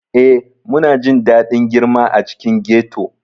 Ee, muna jin daɗin girma a cikin ghetto.